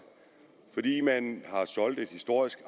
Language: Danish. fordi man har soldet et historisk